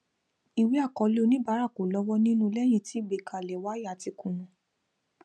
ìwé àkọọlẹ oníbàárà kò lọwọ nínú lẹyìn tí ìgbèkẹlé waya ti kúnà